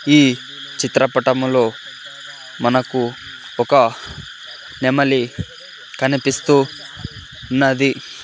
ఈ చిత్రపటములో మనకు ఒక నెమలి కనిపిస్తూ ఉన్నది.